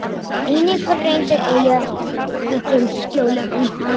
Einnig var reynt að eyða öllum skjölum um hana.